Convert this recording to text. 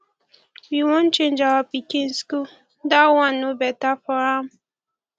we wan change our pikin school dat one no beta for am